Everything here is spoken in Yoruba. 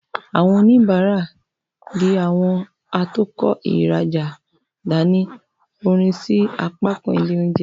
Awọn onibara, dì awọn atokọ riraja dani, orin sí apakan ile oúnjẹ.